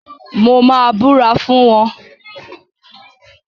Mo máa búra fún wọ́n.